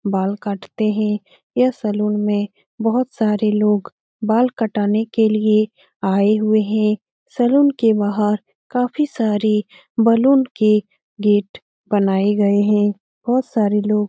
बाल काटते है यह सलून में बहुत सारे लोग बाल कटाने के लिए आये हुए है सैलून के बहार काफी सारे बलून के गेट बनाये गये है बहुत सारे लोग --